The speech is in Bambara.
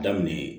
Daminɛ ye